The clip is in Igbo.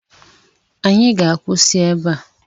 Anyị ga-akwụsị ebe a